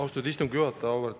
Austatud istungi juhataja!